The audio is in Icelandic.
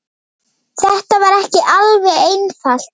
Þetta var ekki alveg einfalt